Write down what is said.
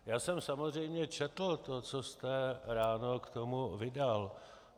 Já jsem samozřejmě četl to, co jste ráno k tomu vydal.